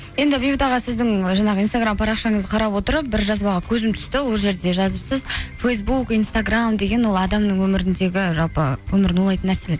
енді бейбіт аға сіздің жаңағы инстаграм парақшаңызды қарап отырып бір жазбаға көзім түсті ол жерде жазыпсыз фейсбук инстаграм деген ол адамның өміріндегі жалпы өмірін улайтын нәрселер